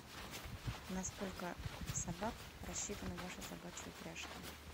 на сколько собак рассчитаны ваши собачьи упряжки